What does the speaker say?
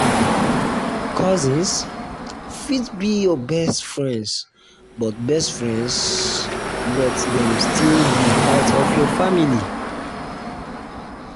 cousins fit become your best friends but best friends but dem still be part of your family.